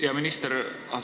Hea minister!